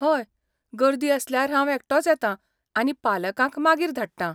हय, गर्दी आसल्यार हांव एकटोच येतां आनी पालकांक मागीर धाडटां.